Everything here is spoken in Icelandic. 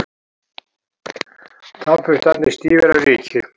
Tannburstarnir stífir af ryki.